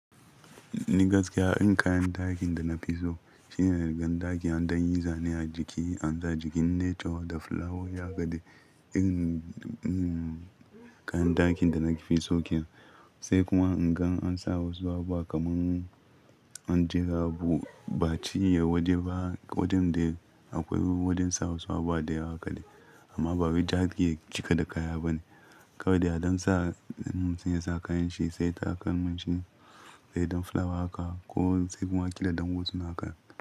Ni gaskiya, irin kayan dakin da na fi so shine na rigar dakin don yin zane a jiki, an sa jikin nature da flower, haka ne irin kayan dakin da na fi so kenan Sai kuma in gan an sa wasu abu kamar an jira abu, ba cinye waje ba, wajen dai akwai wajen sa wasu abu a dai haka ne. Amma ba wai daki yake cika da kaya ba ne. Kawai da dan sa sun iya sa kayan shi sai ta a kan mun shi, sai don flower haka ko sai kuma ake dadan wutsun haka.